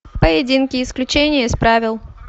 поединки исключения из правил